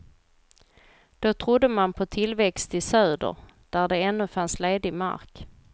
Då trodde man på tillväxt i söder, där det ännu fanns ledig mark.